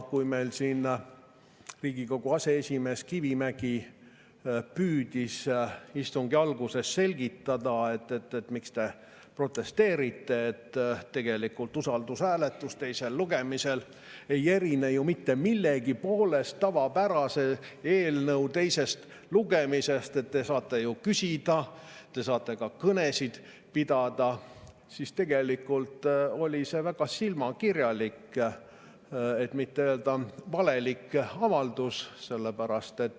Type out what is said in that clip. Kui Riigikogu aseesimees Kivimägi püüdis istungi alguses selgitada, et miks te protesteerite, tegelikult usaldushääletus teisel lugemisel ei erine mitte millegi poolest tavapärase eelnõu teisest lugemisest, et te saate ju küsida, te saate ka kõnesid pidada, siis oli see väga silmakirjalik, kui mitte öelda, et valelik avaldus.